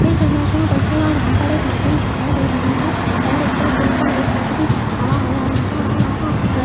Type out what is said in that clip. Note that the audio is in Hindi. इस इमेज में देखिएगा यहां पर एक नदी दिखाई दे रही है और ऊपर पुल पर एक आदमी खड़ा हुआ नजर आ रहा है।